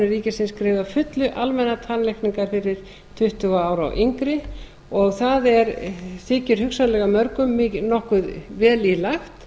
ríkisins greiði að fullu almennar tannlækningar fyrir tuttugu ára og yngri það þykir hugsanlega mörgum nokkuð vel í lagt